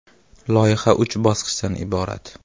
Loyiha uch bosqichdan iborat.